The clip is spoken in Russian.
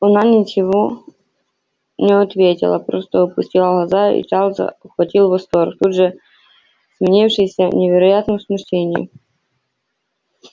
она ничего не ответила просто опустила глаза и чарльза охватил восторг тут же сменившийся невероятным смущением